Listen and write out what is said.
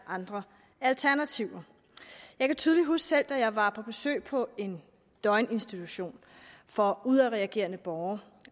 andre alternativer jeg kan tydeligt selv huske da jeg var på besøg på en døgninstitution for udadreagerende borgere